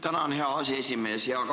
Tänan, hea aseesimees!